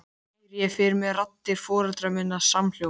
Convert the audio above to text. Heyri ég fyrir mér raddir foreldra minna samhljóma.